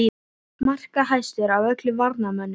Markahæstur af öllum varnarmönnum??